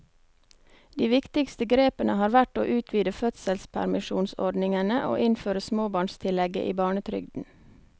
De viktigste grepene har vært å utvide fødselspermisjonsordningene og innføre småbarnstillegget i barnetrygden.